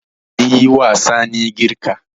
An yi wa Sani girka.